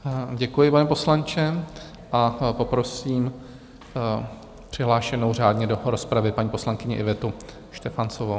Děkuji, pane poslanče, a poprosím přihlášenou řádně do rozpravy paní poslankyni Ivetu Štefanovou.